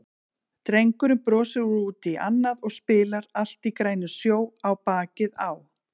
Drengurinn brosir út í annað og spilar Allt í grænum sjó á bakið á